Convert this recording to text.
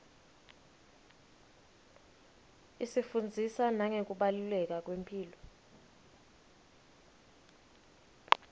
isifundzisa nangekubaluleka kwemphilo